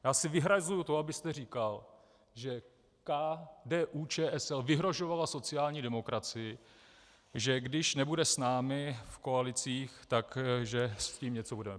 Já si vyhrazuji to, abyste říkal, že KDU-ČSL vyhrožovala sociální demokracii, že když nebude s námi v koalicích, tak že s tím něco budeme.